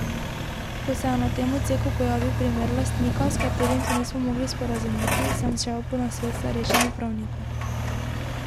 Ko se je na tem odseku pojavil primer lastnika, s katerim se nismo mogli sporazumeti, sem šel po nasvet k starejšemu pravniku.